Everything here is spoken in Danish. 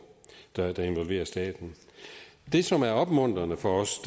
der involverer staten det som er opmuntrende for os